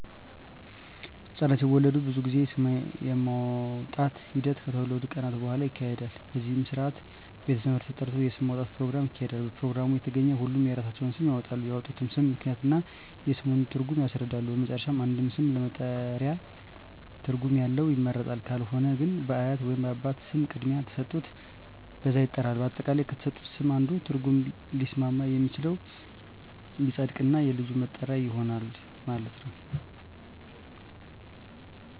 ህፃናት ሲወለዱ ብዙ ጊዜ ስም የማውጣት ሒደት ከተወለዱ ከቀናት በሁዋላ ይካሄዳል በዚህም ስርአት ቤተ ዘመድ ተጠርቶ የስም ማውጣት ኘሮግራም ይካሄዳል በፕሮግራሙ የተገኙ ሁሉም የራሳቸውን ስም ያወጣሉ ያወጡትንም ስም ምክንያት እና የስሙን ትርጉም ያስረዳሉ በመጨረሻም አንድ ስም ለመጠሪያ ትርጉም ያለው ይመረጣል ካልሆነ ግን በአያት ወይንም በአባት ስም ቅድሚያ ተሠጥቶት በዛ ይጠራል። አጠቃላይ ከተሠጡት ስም አንዱ ትርጉም ሊስማማ የሚችለው ይፀድቅ እና የልጁ መጠሪያ ይሆናል ማለት ነው።